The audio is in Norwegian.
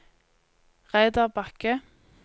Reidar Bakke